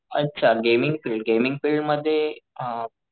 अच्छा gaming field gaming field मध्ये अ,